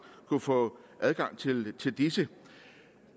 kunne få adgang til til disse